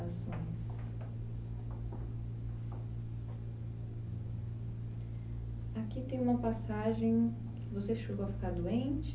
ações. Aqui tem uma passagem, você chegou a ficar doente?